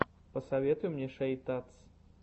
посоветуй мне шейтадс